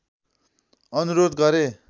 अनुरोध गरे